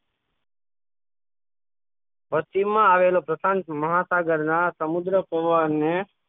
વસ્તીમાં આવેલો પ્રસાદ મહાસાગરના સમુદ્